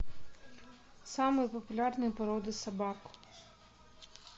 самые популярные породы собак